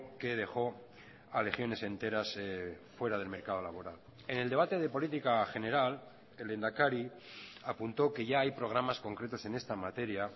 que dejó a legiones enteras fuera del mercado laboral en el debate de política general el lehendakari apuntó que ya hay programas concretos en esta materia